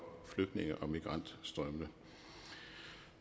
flygtninge og migrantstrømmene